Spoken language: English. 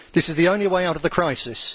This is the only way out of the crisis